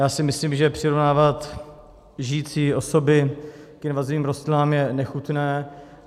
Já si myslím, že přirovnávat žijící osoby k invazivním rostlinám je nechutné.